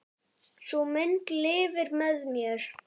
Sú mynd lifir með mér.